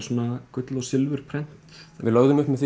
svona gull og silfurprent við lögðum upp með